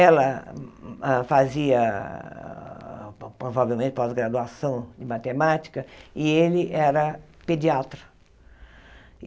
Ela hã fazia, provavelmente, pós-graduação em matemática e ele era pediatra.